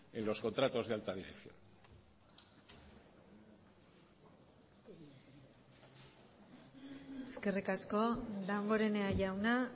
en los contratos de alta dirección eskerrik asko damborenea jauna